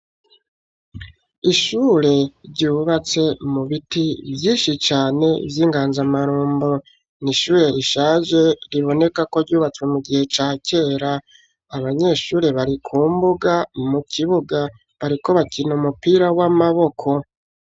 Ishure ryubatse mu biti vyinshi cane vy'inganzamarumbo n'ishure rishaje riboneka ko ryubatswe mu gihe ca kera, abanyeshure barikumbuga mu kibuga bariko bakina umupira w'amaboko.